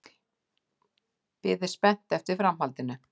Biði spennt eftir framhaldinu.